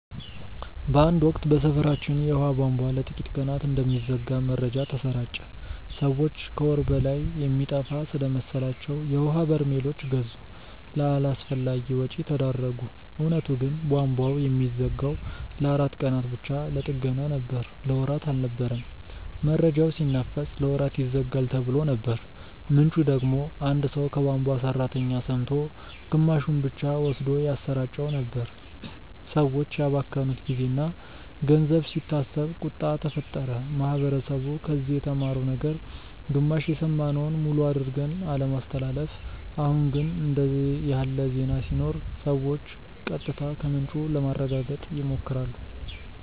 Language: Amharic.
በአንድ ወቅት በሰፈራችን የውሃ ቧንቧ ለጥቂት ቀናት እንደሚዘጋ መረጃ ተሰራጨ። ሰዎች ከወር በላይ የሚጠፋ ስለመሰላቸው የውሀ በርሜሎች ገዙ፣ ለአላስፈላጊ ወጪ ተዳረጉ። እውነቱ ግን ቧንቧው የሚዘጋው ለአራት ቀናት ብቻ ለጥገና ነበር። ለወራት አልነበረም። መረጃው ሲናፈስ "ለወራት ይዘጋል"ተብሎ ነበር፣ ምንጩ ደግሞ አንድ ሰው ከቧንቧ ሠራተኛ ሰምቶ ግማሹን ብቻ ወስዶ ያሰራጨው ነበር። ሰዎች ያባከኑት ጊዜና ገንዘብ ሲታሰብ ቁጣ ተፈጠረ። ማህበረሰቡ ከዚህ የተማረው ነገር ግማሽ የሰማነውን ሙሉ አድርገን አለማስተላለፍ። አሁን ግን እንዲህ ያለ ዜና ሲኖር ሰዎች ቀጥታ ከምንጩ ለማረጋገጥ ይሞክራሉ